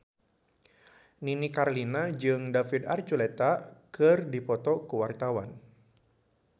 Nini Carlina jeung David Archuletta keur dipoto ku wartawan